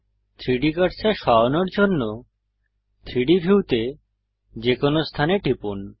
3ডি কার্সার সরানোর জন্য 3ডি ভিউতে যেকোনো স্থানে টিপুন